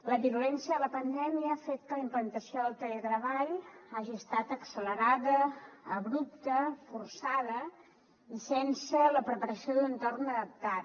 la virulència de la pandèmia ha fet que la implantació del teletreball hagi estat accelerada abrupta forçada i sense la preparació d’un entorn adaptat